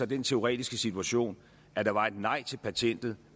den teoretiske situation at der var et nej til patentet